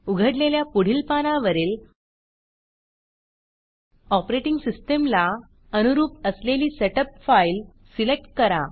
उघडलेल्या पुढील पानावरील ऑपरेटिंग सिस्टीमला अनुरूप असलेली सेटअप फाईल सिलेक्ट करा